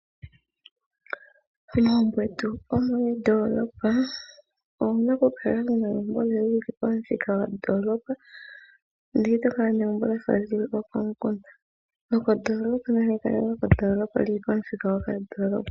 Momagbo getu gomoondoolopa, owu na lela oku kala mo wuli pamuthika gondoolopa ndele ito kala wu na egumbo lyafa lyokomukunda. Lyokondoolopa nali kale lili pandoolopa lili pamuthika gopandoolopa.